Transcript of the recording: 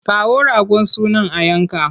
Kawo ragon sunan a yanka!